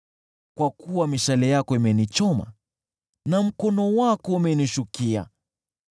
Kwa kuwa mishale yako imenichoma, na mkono wako umenishukia.